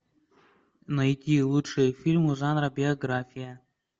найти лучшие фильмы жанра биография